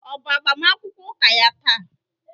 Ọ bụ agbamakwụkwọ ụka ya taa?